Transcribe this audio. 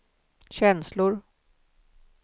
känslor